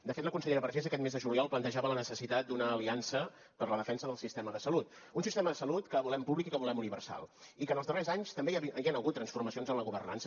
de fet la consellera vergés aquest mes de juliol plantejava la necessitat d’una aliança per a la defensa del sistema de salut un sistema de salut que volem públic i que volem universal i que en els darrers anys també hi han hagut transformacions en la governança